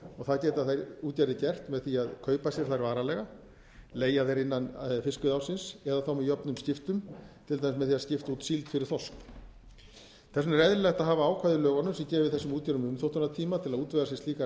það geta þær útgerðir gert með því að kaupa þær varanlega leigja þær innan fiskveiðiársins eða með jöfnum skiptum til dæmis með því að skipta út síld fyrir þorsk þess vegna er eðlilegt að hafa ákvæði í lögunum sem gefi þessum útgerðum umþóttunartíma til að útvega sér slíkar